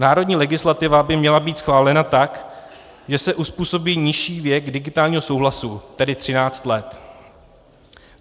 Národní legislativa by měla být schválena tak, že se uzpůsobí nižší věk digitálního souhlasu, tedy 13 let.